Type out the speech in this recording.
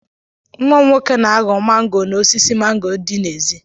Nwa m nwoke na-aghọ mango n'osisi mango dị n'èzí.